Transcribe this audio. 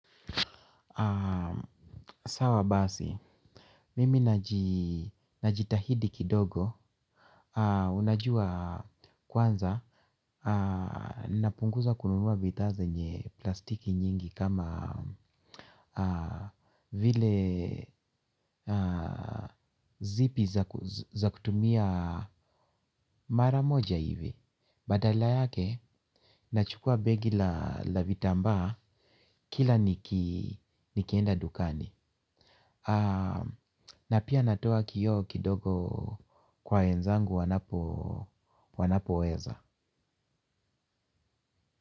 Sawa basi, mimi najitahidi kidogo, unajua kwanza, napunguza kununua bidhaa zenye plastiki nyingi kama vile zipi za kutumia mara moja hivi. Badala yake, nachukua begi la vitambaa kila nikienda dukani. Na pia natoa kioo kidogo kwa wenzangu wanapoweza.